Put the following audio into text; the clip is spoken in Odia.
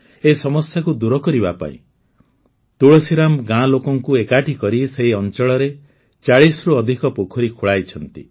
ଏହି ସମସ୍ୟାକୁ ଦୂର କରିବା ପାଇଁ ତୁଳସୀରାମ୍ ଗାଁ ଲୋକଙ୍କୁ ଏକାଠି କରି ସେହି ଅଂଚଳରେ ୪୦ରୁ ଅଧିକ ପୋଖରୀ ଖୋଳାଇଛନ୍ତି